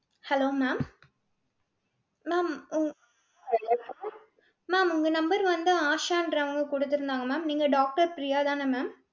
hello ma'am ma'am உங்~ ma'am உங்க number வந்து ஆஷான்றவங்க குடுத்துருந்தாங்க mam நீங்க doctor பிரியா தானே, ma'am?